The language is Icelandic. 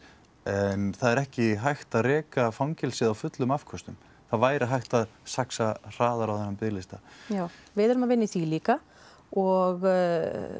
en það er ekki hægt að reka fangelsið á fullum afköstum væri hægt að saxa hraðar á þennan biðlista já við erum að vinna í því líka og